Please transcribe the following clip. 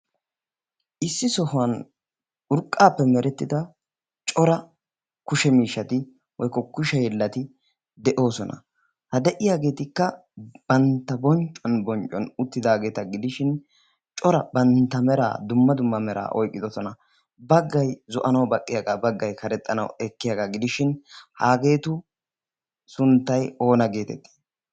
issi sohuwan urqqaappe merettida cora kushe miishshati woykkokusheyllati de'oosona ha de'iyaageetikka bantta bonccuwan bonccon uttidaageeta gidishin cora bantta meraa dumma dumma meraa oyqqidosona baggay zo'anay baqqiyaagaa baggay karexxanay ekkiyaagaa gidishin haageetu sunttay oona geetettii?